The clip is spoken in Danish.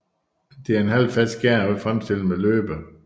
Det er en halvfast skæreost fremstillet med løbe